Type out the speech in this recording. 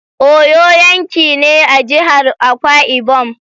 Uyo yanki ne a jihar Akwa Ibom.